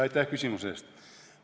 Aitäh küsimuse eest!